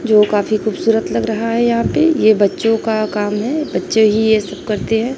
जो काफी खूबसूरत लग रहा है यहां पे यह बच्चों का काम है। बच्चे ही यह सब करते हैं।